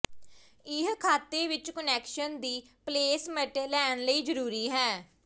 ਇਹ ਖਾਤੇ ਵਿੱਚ ਕੁਨੈਕਸ਼ਨ ਦੀ ਪਲੇਸਮਟ ਲੈਣ ਲਈ ਜ਼ਰੂਰੀ ਹੈ